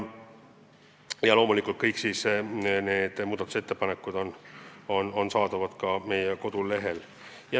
Loomulikult kõik need muudatusettepanekud on üleval meie kodulehel.